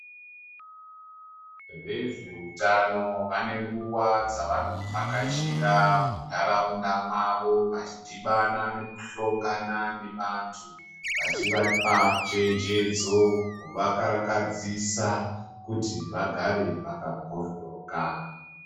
Vezveutano vane nguwa dzavanovhakachira muntaraunda mwavo vachidhibana nekuhlongana nevanthu, vachivapa chenjedzo kuvakarakadzisa kuti vagare vakambhoryoka.